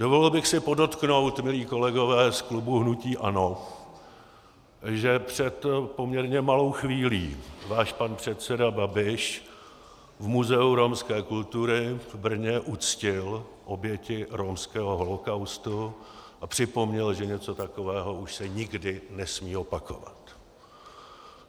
Dovolil bych si podotknout, milí kolegové z klubu hnutí ANO, že před poměrně malou chvílí váš pan předseda Babiš v Muzeu romské kultury v Brně uctil oběti romského holocaustu a připomněl, že něco takového už se nikdy nesmí opakovat.